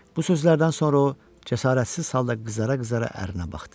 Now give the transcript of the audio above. Bu sözlərdən sonra o cəsarətsiz halda qızara-qızara ərinə baxdı.